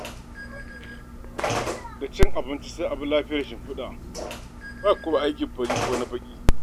Da cin abinci sai a bi lafiyar shimfiɗa, ba kuma aikin fari bare na baƙi.